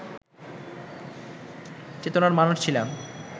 চেতনার মানুষ ছিলাম